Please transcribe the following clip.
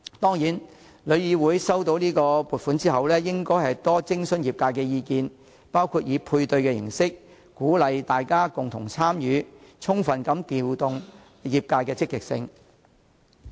當然，旅議會於獲發撥款後，應多徵詢業界意見，包括以配對形式鼓勵大家共同參與，充分發揮業界的積極性。